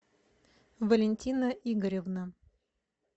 валентина игоревна